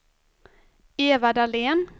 Eva Dahlén